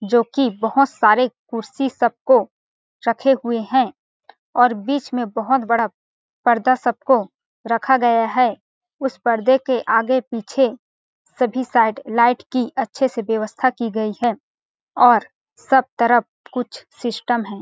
जो कि बहुत सारे कुर्सी सबको रखे हुए हैं और बीच में बहुत बड़ा पर्दा सबको रखा गया है उस पर्दे के आगे पीछे सभी साइड लाइट की अच्छे से व्यवस्था की गई है और सब तरफ कुछ सिस्टम है।